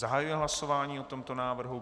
Zahajuji hlasování o tomto návrhu.